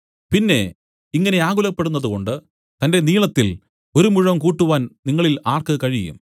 പിന്നെ ഇങ്ങനെ ആകുലപ്പെടുന്നതുകൊണ്ട് തന്റെ നീളത്തിൽ ഒരു മുഴം കൂട്ടുവാൻ നിങ്ങളിൽ ആർക്ക് കഴിയും